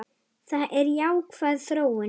Það er jákvæð þróun.